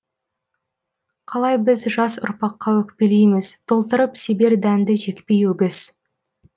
қалай біз жас ұрпаққа өкпелейміз толтырып себер дәнді жекпей өгіз